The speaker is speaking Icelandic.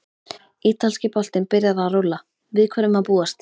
Ítalski boltinn byrjar að rúlla- Við hverju má búast?